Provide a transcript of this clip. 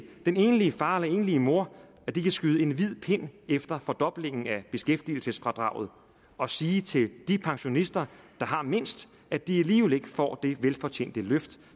den enlige far eller enlige mor at de kan skyde en hvid pind efter fordoblingen af beskæftigelsesfradraget og sige til de pensionister der har mindst at de alligevel ikke får det velfortjente løft